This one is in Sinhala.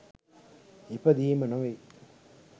ඉපදීම නොවෙයි.